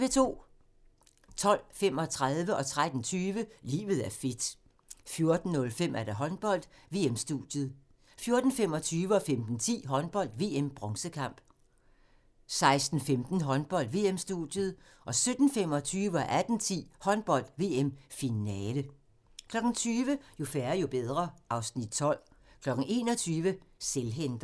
12:35: Livet er fedt 13:20: Livet er fedt 14:05: Håndbold: VM-studiet 14:25: Håndbold: VM - bronzekamp 15:10: Håndbold: VM - bronzekamp 16:15: Håndbold: VM-studiet 17:25: Håndbold: VM – Finale 18:10: Håndbold: VM – Finale 20:00: Jo færre, jo bedre (Afs. 12) 21:00: Selvhenter